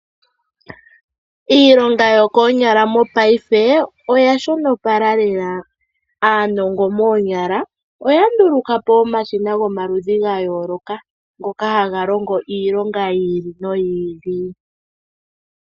Iilonga yokoonyala mopaife oya shonopala lela. Aanongo moonyala oya nduluka po omashina gomaludhi ga yooloka ngoka haga longo iilonga yi ili noyi ili.